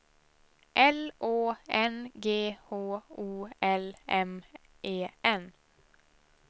L Å N G H O L M E N